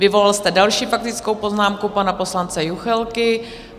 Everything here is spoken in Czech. Vyvolal jste další faktickou poznámku pana poslance Juchelky.